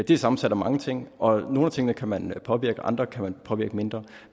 det er sammensat af mange ting og nogle af tingene kan man påvirke og andre kan man påvirke mindre